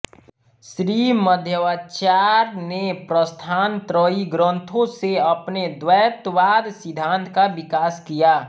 श्री मध्वाचार्य ने प्रस्थानत्रयी ग्रंथों से अपने द्वैतवाद सिद्धान्त का विकास किया